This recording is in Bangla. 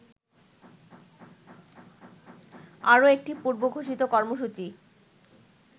আরো একটি পূর্বঘোষিত কর্মসূচী